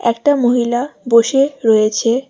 একটা মহিলা বসে রয়েছে।